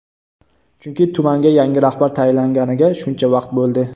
Chunki tumanga yangi rahbar tayinlanganiga shuncha vaqt bo‘ldi.